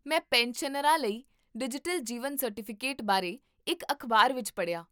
ਮੈਂ ਪੈਨਸ਼ਨਰਾਂ ਲਈ ਡਿਜੀਟਲ ਜੀਵਨ ਸਰਟੀਫਿਕੇਟ ਬਾਰੇ ਇੱਕ ਅਖ਼ਬਾਰ ਵਿੱਚ ਪੜ੍ਹਿਆ